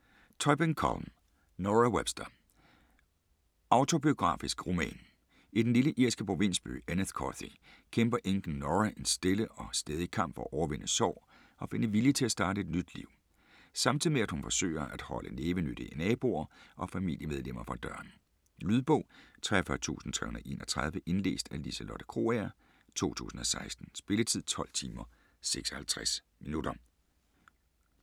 Tóibín, Colm: Nora Webster Autobiografisk roman. I den lille irske provinsby Enniscorthy kæmper enken Nora en stille og stædig kamp for at overvinde sorg og finde vilje til at starte et nyt liv, samtidig med at hun forsøger at holde nævenyttige naboer og familiemedlemmer fra døren. Lydbog 43331 Indlæst af Liselotte Krogager, 2016. Spilletid: 12 timer, 56 minutter.